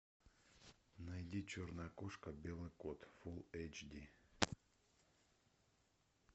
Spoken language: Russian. найди черная кошка белый кот фулл эйч ди